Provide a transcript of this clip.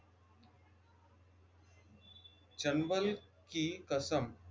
चंबल की कसम